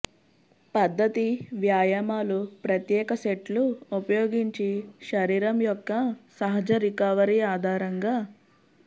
పద్ధతి వ్యాయామాలు ప్రత్యేక సెట్లు ఉపయోగించి శరీరం యొక్క సహజ రికవరీ ఆధారంగా